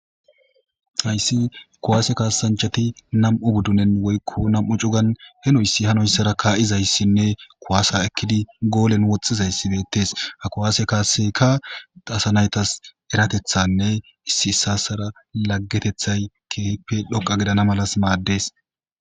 ayssi kowaase kaasanchati nam7u buddunen woykko nam7u cugan henoyssi hanoyssara kaa7izayssinne kowaasa ekkidi goolen woxxizayssi beettes ha kuwaase kaase ka dasanaytas eratethanne issi issassara laggetethay keepe dhoqa gidana malas maaddes